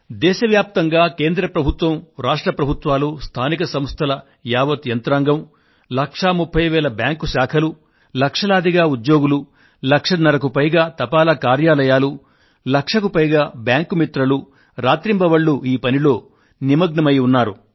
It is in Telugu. దేశ వ్యాప్తంగా కేంద్ర ప్రభుత్వం రాష్ట్ర ప్రభుత్వాలు స్థానిక సంస్థల యావత్ యంత్రాంగం లక్షా ముప్ఫయ్ వేల బ్యాంకు శాఖలు లక్షలాదిగా ఉద్యోగులు లక్షన్నరకు పైగా తపాలా కార్యాలయాలు లక్షకు పైగా బ్యాంకు మిత్రలు రాత్రింబవళ్లూ ఈ పనిలో నిమగ్నమై ఉన్నారు